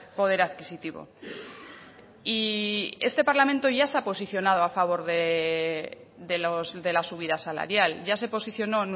poder adquisitivo y este parlamento ya se ha posicionado a favor de la subida salarial ya se posicionó